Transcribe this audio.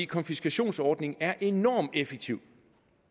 konfiskationsordningen er enormt effektiv